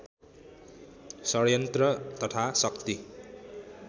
षड्यन्त्र तथा शक्ति